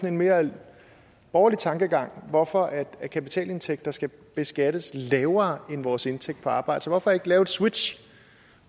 en mere borgerlig tankegang hvorfor kapitalindtægter skal beskattes lavere end vores indtægt på arbejde så hvorfor ikke lave et switch